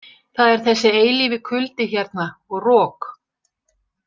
Það er þessi eilífi kuldi hérna og rok.